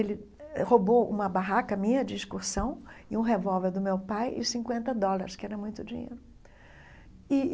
Ele eh roubou uma barraca minha de excursão e um revólver do meu pai e cinquenta dólares, que era muito dinheiro e.